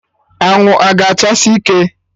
Anwụ a ga achasi ike!